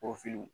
O fili